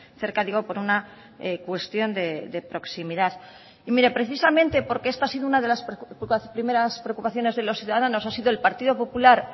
cerca digo por una cuestión de proximidad y mire precisamente porque esta ha sido una de las primeras preocupaciones de los ciudadanos ha sido el partido popular